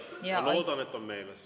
Ma loodan, et see on meeles.